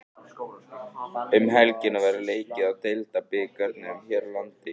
Um helgina verður leikið í Deildabikarnum hér landi.